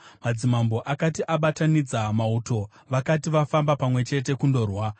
Madzimambo akati abatanidza mauto, vakati vafamba pamwe chete kundorwa,